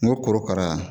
N ko korokara